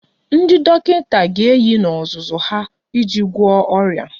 Ndị dọkịta ga-eyi n'ozuzu ha iji gwọọ ọrịa